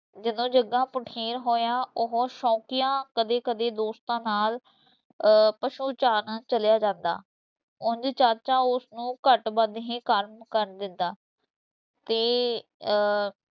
ਜਦੋਂ ਜੱਗਾ ਪੁਠੀਰ ਹੋਇਆ, ਉਹ ਸ਼ੌਕੀਆ ਕਦੇ ਕਦੇ ਦੋਸਤਾਂ ਨਾਲ ਅਹ ਪਸ਼ੂ ਚਾਰਨ ਚਲਿਆ ਜਾਂਦਾ, ਉਂਝ ਚਾਚਾ ਉਸ ਨੂੰ ਘੱਟ-ਵੱਧ ਹੀ ਕੰਮ ਕਰਨ ਦਿੰਦਾ ਤੇ ਅਹ